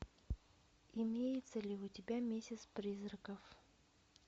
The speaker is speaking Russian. имеется ли у тебя месяц призраков